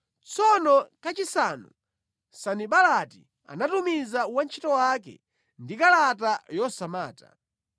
Tsono kachisanu, Sanibalati anatumiza wantchito wake ndi kalata yosamata.